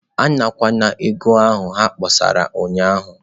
Anarakwala ego ahụ ha kpọsara ụnyahụ.